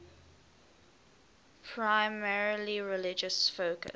primarily religious focus